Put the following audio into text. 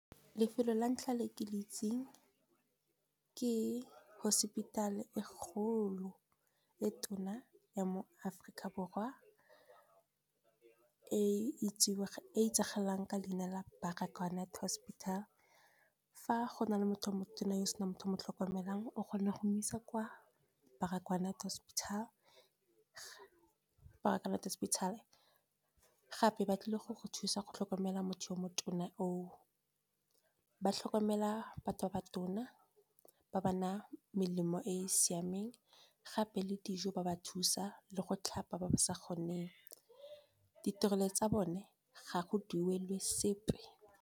Lefelo la ntlha le ke le itseng, ke hospital e kgolo e tona ya mo Aforika Borwa, e itsagalang ka leina la Baragwanath hospital. Fa go na le motho o motona yo o senang motho mo tlhokomelang o kgona go mo isa kwa Baragwanath hospital, gape ba tlile go go thusa go tlhokomela motho yo motona o o. Ba tlhokomela batho ba ba tona, ba ba na a melemo e e siameng, gape le dijo ba ba thusa le go tlhapa ba ba sa kgoneng. Ditirelo tsa bone ga go duelwe sepe.